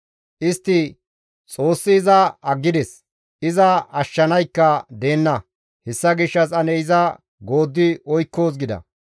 Istti, «Xoossi iza aggides; iza ashshanaykka deenna; hessa gishshas ane iza gooddi oykkoos» gida.